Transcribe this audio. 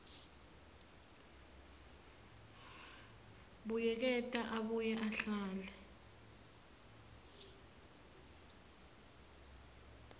buyeketa abuye ahlele